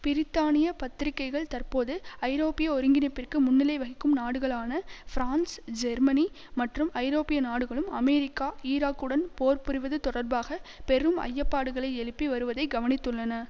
பிரித்தானிய பத்திரிகைகள் தற்போது ஐரோப்பிய ஒருங்கிணைப்பிற்கு முன்னிலை வகிக்கும் நாடுகளான பிரான்ஸ் ஜெர்மனி மற்றும் ஐரோப்பிய நாடுகளும் அமெரிக்கா ஈராக்குடன் போர் புரிவது தொடர்பாக பெரும் ஐயப்பாடுகளை எழுப்பி வருவதை கவனித்துள்ளன